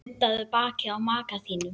Nuddaðu bakið á maka þínum.